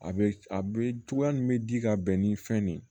A bɛ a bɛ cogoya min bɛ di ka bɛn ni fɛn nin ye